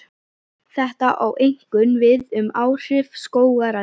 Þetta á einkum við um áhrif skógarelda.